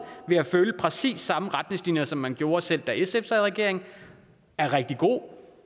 ved at følge præcis samme retningslinje som man gjorde selv da sf sad i regering er rigtig god